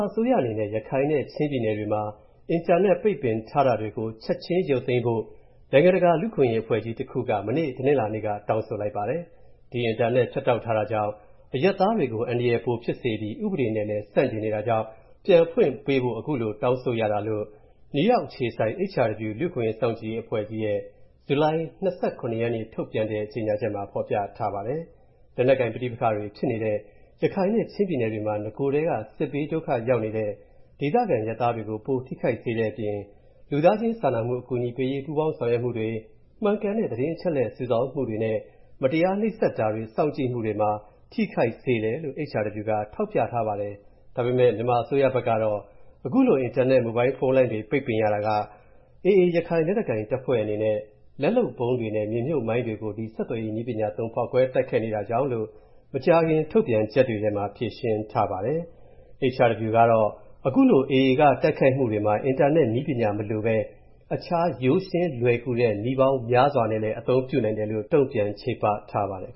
အစိုးရအနေနဲ့ ရခိုင်နဲ့ ချင်းပြည်နယ်တွေမှာ အင်တာနက် ပိတ်ပင်ထားတာတွေကို ချက်ချင်းရုပ်သိမ်းဖို့နိုင်ငံတကာလူ့အခွင့်အရေးအဖွဲ့ကြီး တစ်ခုက မနေ့ တနင်္လာနေ့က တောင်းဆိုလိုက်ပါတယ်။ ဒီအင်တာနက်ဖြတ်တောက်ထားတာကြောင့် အရပ်သားတွေကို အန္တရာယ်ပိုဖြစ်စေပြီး၊ ဥပဒေနဲ့လည်း ဆန့်ကျင်နေတာကြောင့်၊ပြန်ဖွင့်ပေးဖို့ ခုလို တောင်းဆိုရတာလို့ နယူးရောက်အခြေစိုက် HRW လူ့အခွင့်အရေးစောင့်ကြည့်ရေးအဖွဲ့ကြီးရဲ့ ဇူလိုင်လ ၂၇ ရက်နေ့ ထုတ်ပြန်တဲ့ကြေညာချက်မှာ ဖေါ်ပြထားပါတယ်။ လက်နက်ကိုင်ပဋိပက္ခတွေဖြစ်နေတဲ့ ရခိုင်နဲ့ ချင်း ပြည်နယ်တွေမှာနဂိုထဲက စစ်ဘေး ဒုက္ခရောက်နေတဲ့ ဒေသခံအရပ်သားတွေကို ပိုထိခိုက်စေတဲ့အပြင် လူသားချင်းစာနာမှု အကူအညီပေးရေး ပူးပေါင်းဆောင်ရွက်မှုတွေ၊မှန်ကန်တဲ့ သတင်းအချက်အလက်စုဆောင်းမူတွေနဲ့ မတရားနှိပ်စက်တာတွေစောင့်ကြည့်မှုတွေမှာ ထိခိုက်စေတယ်လို့ HRW က ထောက်ပြထားပါတယ်။ ဒါပေမဲ့ မြန်မာအစိုးရဘက်ကတော့ ခုလို အင်တာနက်မိုဘိုင်းဖုန်းလိုင်းတွေ ပိတ်ပင်ရတာဟာAA ရခိုင်လက်နက်ကိုင်တပ်ဖွဲ့အနေနဲ့ လက်လုပ်ဗုံးတွေနဲ့ မြေမြုပ်မိုင်းတွေကို ဒီဆက်သွယ်ရေး နည်းပညာသုံး ဖောက်ခွဲတိုက်ခိုက်နေတာကြောင့်လို့ မကြာခင်ထုတ်ပြန်ချက်တွေထဲမှာ ဖြေရှင်းထားပါတယ်။ HRW ကတော့ အခုလို AA က တိုက်ခိုက်မူတွေမှာ အင်တာနက်နည်းပညာမလိုပဲ၊ အခြားရိုးရှင်းလွယ်ကူူတဲ့ နည်းပေါင်းများစွာနဲ့ လည်း အသုံးပြုနိုင်တယ်လို့ တုံ့ပြန်ချေပထားပါတယ်။